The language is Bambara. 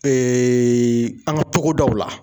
an ka togodaw la.